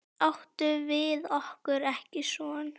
Áttum við okkur ekki son?